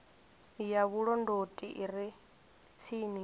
ya vhulondoti i re tsini